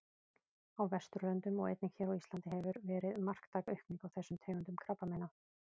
Á Vesturlöndum og einnig hér á Íslandi hefur verið marktæk aukning á þessum tegundum krabbameina.